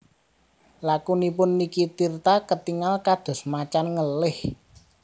Lakunipun Nicky Tirta ketingal kados macan ngelih